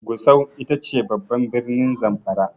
Gusau ita ce babban birnin Zamfara.